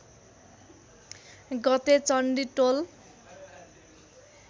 गते चण्डी टोल